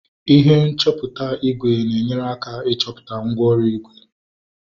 ihe nchọpụta ígwè na-enyere aka ịchọpụta mgwooru ígwè